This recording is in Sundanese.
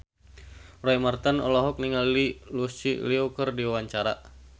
Roy Marten olohok ningali Lucy Liu keur diwawancara